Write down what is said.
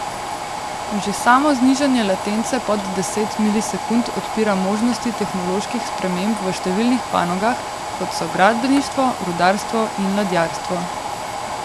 Že samo znižanje latence pod deset milisekund odpira možnosti tehnoloških sprememb v številnih panogah, kot so gradbeništvo, rudarstvo in ladjarstvo.